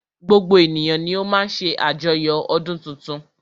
Gbogbo ènìyàn ni o má ń ṣe àjoyo ọdún tuntun.